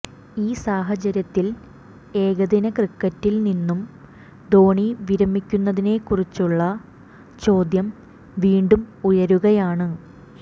ഈ സാഹചര്യത്തിൽ ഏകദിന ക്രിക്കറ്റിൽനിന്നും ധോണി വിരമിക്കുന്നതിനെക്കുറിച്ചുളള ചോദ്യം വീണ്ടും ഉയരുകയാണ്